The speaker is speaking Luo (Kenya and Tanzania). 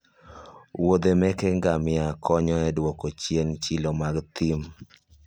wuodhe meke gamia konyo e duoko chien chilo mag thim